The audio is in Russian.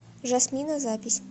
жасмина запись